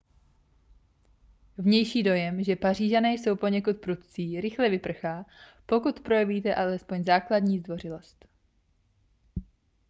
vnější dojem že pařížané jsou poněkud prudcí rychle vyprchá pokud projevíte alespoň základní zdvořilost